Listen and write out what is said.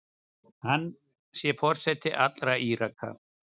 Hann sé forseti allra Íraka.